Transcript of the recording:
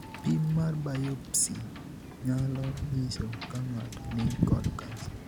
Pim mar 'biopsy' nyalo nyiso ka ng'ato ni kod kansa.